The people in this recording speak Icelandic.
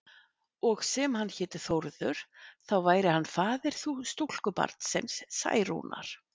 Og sem hann héti Þórður, þá væri hann faðir stúlkubarnsins Særúnar.